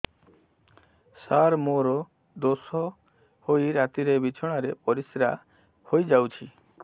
ସାର ମୋର ଦୋଷ ହୋଇ ରାତିରେ ବିଛଣାରେ ପରିସ୍ରା ହୋଇ ଯାଉଛି